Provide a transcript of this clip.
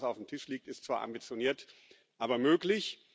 Das, was auf dem Tisch liegt, ist zwar ambitioniert, aber möglich.